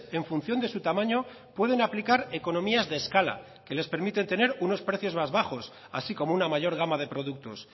en función de su tamaño pueden aplicar economías de escala que les permite tener unos precios más bajos así como una mayor gama de productos